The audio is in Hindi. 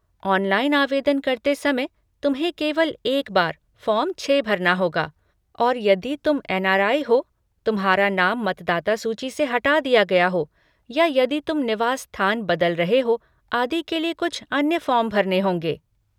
ऑनलाइन आवेदन करते समय, तुम्हें केवल एक बार फ़ॉर्म छह भरना होगा और यदि तुम एन.आर.आई. हो, तुम्हारा नाम मतदाता सूची से हटा दिया गया हो, या यदि तुम निवास स्थान बदल रहे हो, आदि के लिए कुछ अन्य फ़ॉर्म भरने होंगे।